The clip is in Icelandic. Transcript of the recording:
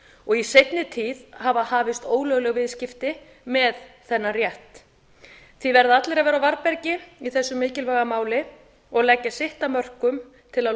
og í seinni tíð hafa hafist ólögleg viðskipti með þennan rétt því verða allir að vera á varðbergi í þessu mikilvæga máli og leggja sitt af mörkum til að